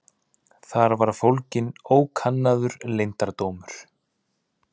Þar var fólginn ókannaður leyndardómur.